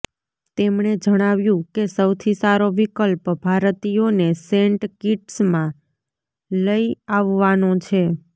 તેમણે જણાવ્યું કે સૌથી સારો વિકલ્પ ભારતીયોને સેન્ટ કિટ્સમાં લઈ અાવવાનો છે